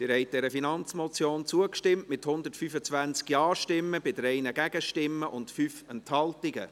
Sie haben dieser Finanzmotion zugestimmt, mit 125 Ja- gegen 3 Nein-Stimmen bei 5 Enthaltungen.